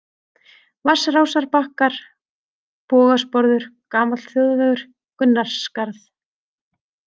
Vatnsrásarbakkar, Bogasporður, Gamall Þjóðvegur, Gunnarsskarð